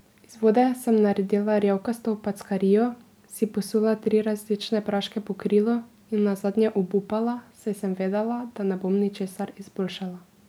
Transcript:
Iz vode sem naredila rjavkasto packarijo, si posula tri različne praške po krilu in nazadnje obupala, saj sem vedela, da ne bom ničesar izboljšala.